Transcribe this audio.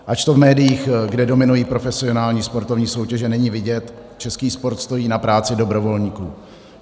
Ač to v médiích, kde dominují profesionální sportovní soutěže, není vidět, český sport stojí na práci dobrovolníků.